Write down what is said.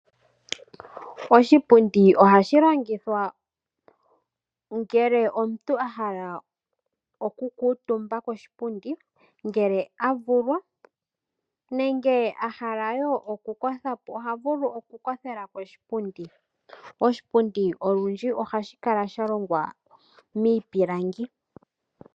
Oshipundi ohashi longithwa ngele omuntu a hala okukuutumba koshipundi ngele a vulwa nenge a hala wo okukotha po oha vulu okukothela koshipundi. Oshipundi olundji ohashi longwa miipilangi.